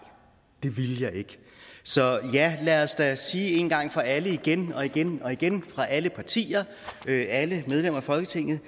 det ville jeg ikke så ja lad os lad os sige en gang for alle igen og igen og igen fra alle partier alle medlemmer af folketingets